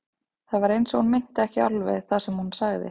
Það var eins og hún meinti ekki alveg það sem hún sagði.